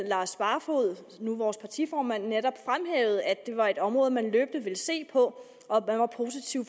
lars barfoed som nu er vores partiformand netop fremhævede at det var et område man løbende ville se på og man var positiv